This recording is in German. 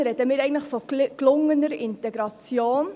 Da sprechen wir eigentlich von gelungener Integration.